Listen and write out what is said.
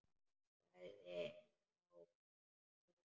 Sagði þá Magnús ríki: